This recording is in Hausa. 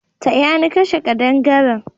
Taya ni kashe kadangaren!